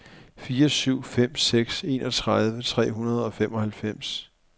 fire syv fem seks enogtredive tre hundrede og femoghalvfems